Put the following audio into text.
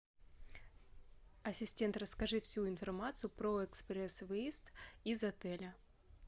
ассистент расскажи всю информацию про экспресс выезд из отеля